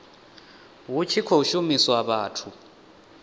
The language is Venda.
hu tshi khou shumiswa vhathu